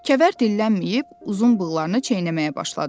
Kəvər dillənməyib uzun bığlarını çeynəməyə başladı.